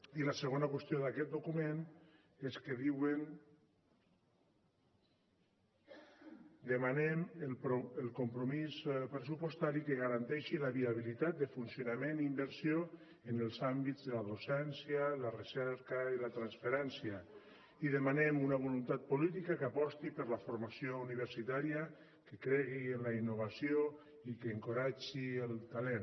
i la segona qüestió d’aquest document és que diuen demanem el compromís pressupostari que garanteixi la viabilitat de funcionament i inversió en els àmbits de la docència la recerca i la transferència i demanem una voluntat política que aposti per la formació universitària que cregui en la innovació i que encoratgi el talent